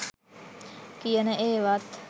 කියන ඒවත්